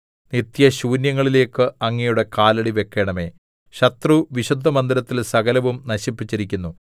നിത്യശൂന്യങ്ങളിലേക്ക് അങ്ങയുടെ കാലടി വെക്കേണമേ ശത്രു വിശുദ്ധമന്ദിരത്തിൽ സകലവും നശിപ്പിച്ചിരിക്കുന്നു